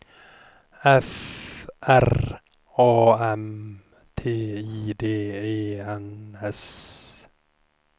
F R A M T I D E N S